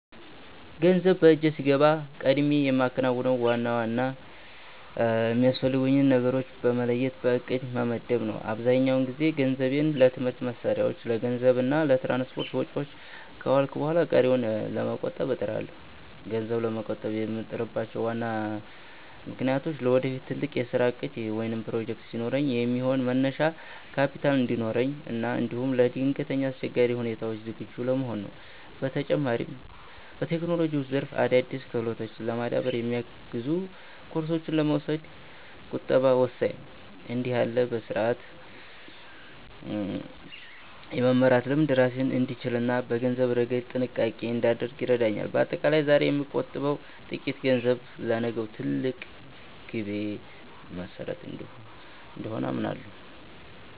ገንዘብ በእጄ ሲገባ ቀድሜ የማከናውነው ዋና ዋና የሚያስፈልጉኝን ነገሮች በመለየት በዕቅድ መመደብ ነው። አብዛኛውን ጊዜ ገንዘቤን ለትምህርት መሣሪያዎች፣ ለምግብ እና ለትራንስፖርት ወጪዎች ካዋልኩ በኋላ ቀሪውን ለመቆጠብ እጥራለሁ። ገንዘብ ለመቆጠብ የምጥርባቸው ዋና ምክንያቶች ለወደፊት ትልቅ የሥራ ዕቅድ ወይም ፕሮጀክት ሲኖረኝ የሚሆን መነሻ ካፒታል እንዲኖረኝ እና እንዲሁም ለድንገተኛ አስቸጋሪ ሁኔታዎች ዝግጁ ለመሆን ነው። በተጨማሪም፣ በቴክኖሎጂው ዘርፍ አዳዲስ ክህሎቶችን ለማዳበር የሚያግዙ ኮርሶችን ለመውሰድ ቁጠባ ወሳኝ ነው። እንዲህ ያለው በሥርዓት የመመራት ልምድ ራሴን እንድችልና በገንዘብ ረገድ ጥንቃቄ እንዳደርግ ይረዳኛል። በአጠቃላይ፣ ዛሬ የምቆጥበው ጥቂት ገንዘብ ለነገው ትልቅ ግቤ መሠረት እንደሆነ አምናለሁ።